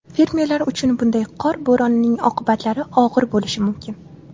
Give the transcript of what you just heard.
Fermerlar uchun bunday qor bo‘ronining oqibatlari og‘ir bo‘lishi mumkin.